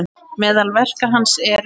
Meðal verka hans eru